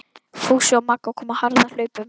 Fúsi og Magga komu á harðahlaupum.